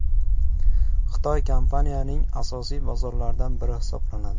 Xitoy kompaniyaning asosiy bozorlaridan biri hisoblanadi.